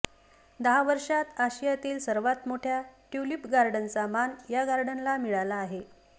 दहा वर्षांत आशियातील सर्वात मोठ्या ट्यूलिप गार्डनचा मान या गार्डनला मिळाला आहे